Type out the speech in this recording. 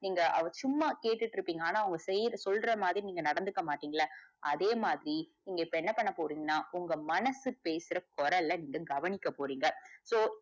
நீங்க அத சும்மா கேட்டுகிட்டு இருப்பிங்க ஆனா அவங்க செய்யற சொல்ற மாதிரி நீங்க நடந்துக்க மாட்டிங்கள அதேமாதிரி நீங்க இப்ப என்ன பண்ண போரிங்கன்னா உங்க மனசு பேசற குரல்ல நீங்க கவனிக்க போறீங்க. so,